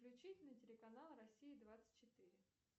включить на телеканал россия двадцать четыре